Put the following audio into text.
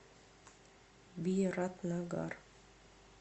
биратнагар